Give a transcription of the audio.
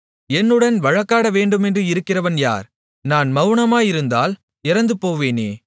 என்னுடன் வழக்காடவேண்டுமென்று இருக்கிறவன் யார் நான் மவுனமாயிருந்தால் இறந்துபோவேனே